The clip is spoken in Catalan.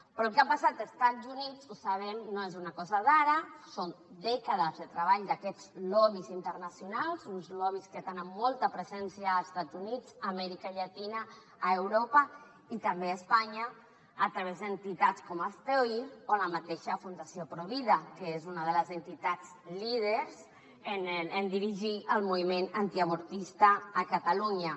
però el que ha passat a estats units ho sabem no és una cosa d’ara són dècades de treball d’aquests lobbys internacionals uns lobbys que tenen molta presència als estats units a amèrica llatina a europa i també a espanya a través d’entitats com hazte oír o la mateixa fundació provida que és una de les entitats líders en dirigir el moviment antiavortista a catalunya